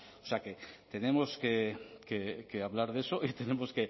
o sea que tenemos que hablar de eso y tenemos